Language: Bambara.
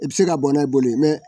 I bɛ se ka bɔn n'a ye boli mɛ